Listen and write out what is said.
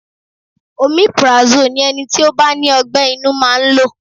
Omeprazole ni ẹni tí ó bá ní ọ gbé inú máa ń lò.